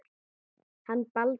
Hann Baldur.